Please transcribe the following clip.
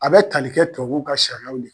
A bɛ tali kɛ tubabu ka sariyaw